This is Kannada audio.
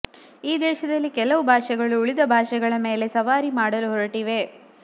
ಈ ದೇಶದಲ್ಲಿ ಕೆಲವು ಭಾಷೆಗಳು ಉಳಿದ ಭಾಷೆಗಳ ಮೇಲೆ ಸವಾರಿ ಮಾಡಲು ಹೊರಟಿವೆ